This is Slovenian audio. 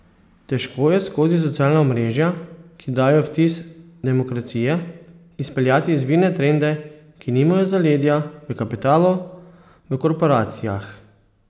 Težko je skozi socialna omrežja, ki dajejo vtis demokracije, izpeljati izvirne trende, ki nimajo zaledja v kapitalu, v korporacijah.